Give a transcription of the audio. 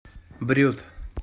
брют